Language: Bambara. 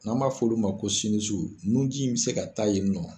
N'an b'a fɔ olu ma ko nunji in bɛ se ka taa yen nɔ